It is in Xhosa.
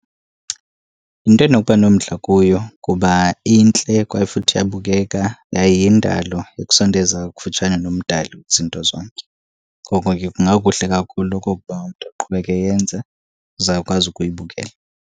Yinto endinokuba nomdla kuyo kuba intle kwaye futhi iyabukeka, yaye yindalo ekusondeza kufutshane nomdali kwizinto zonke. Ngoko ke kungakuhle kakhulu okokuba umntu uqhubeke eyenza uzawukwazi ukuyibukela.